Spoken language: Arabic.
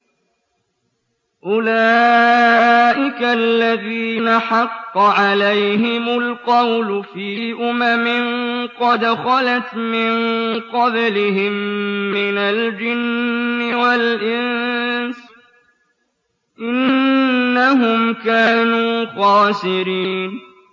أُولَٰئِكَ الَّذِينَ حَقَّ عَلَيْهِمُ الْقَوْلُ فِي أُمَمٍ قَدْ خَلَتْ مِن قَبْلِهِم مِّنَ الْجِنِّ وَالْإِنسِ ۖ إِنَّهُمْ كَانُوا خَاسِرِينَ